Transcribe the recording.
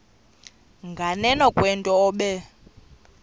nganeno kwento obe